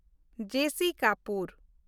ᱡᱮ. ᱥᱤ. ᱠᱟᱯᱩᱨ